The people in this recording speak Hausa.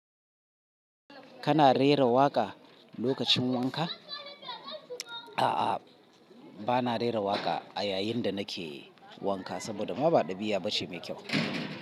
Kana rera waƙa lokacin wanka? A'a, bana rera waƙa a yayin da nake wanka saboda ma ba ɗabi'a bace mai kyau.